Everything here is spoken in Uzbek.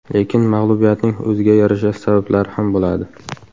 Lekin mag‘lubiyatning o‘ziga yarasha sabablari ham bo‘ladi.